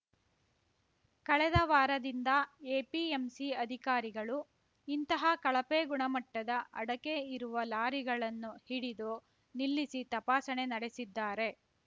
ಕಳೆದ ವಾರದಿಂದ ಎಪಿಎಂಸಿ ಅಧಿಕಾರಿಗಳು ಇಂತಹ ಕಳಪೆ ಗುಣಮಟ್ಟದ ಅಡಕೆ ಇರುವ ಲಾರಿಗಳನ್ನು ಹಿಡಿದು ನಿಲ್ಲಿಸಿ ತಪಾಸಣೆ ನಡೆಸಿದ್ದಾರೆ